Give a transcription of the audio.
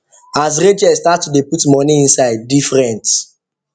as racheal start to dey put money inside different